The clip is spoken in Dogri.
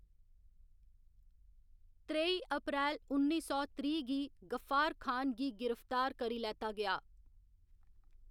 त्रेई अप्रैल उन्नी सौ त्रीह्‌ गी गफ्फार खान गी गिरफ्तार करी लैता गेआ।